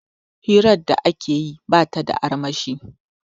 hirar da ake yi ba ta da armashi